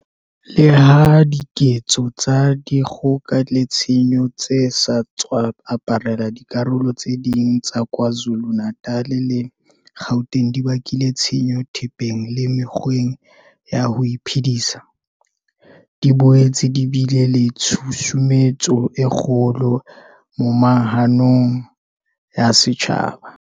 Leha diketso tsa di kgoka le tshenyo tse sa tswa aparela dikarolo tse ding tsa Kwa Zulu-Natal le Gauteng di bakile tshenyo thepeng le mekgweng ya ho iphedisa, di boetse di bile le tshu sumetso e kgolo moma hanong ya setjhaba.